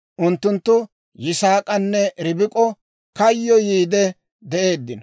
Unttunttu Yisaak'anne Ribik'o kayyoyiidde de'eeddino.